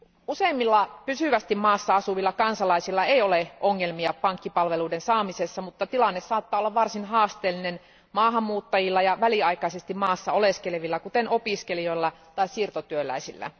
Useimmilla pysyvästi maassa asuvilla kansalaisilla ei ole ongelmia pankkipalveluiden saamisessa, mutta tilanne saattaa olla varsin haasteellinen maahanmuuttajilla ja väliaikaisesti maassa oleskelevilla, kuten opiskelijoilla tai siirtotyöläisillä.